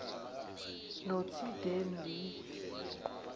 notidendi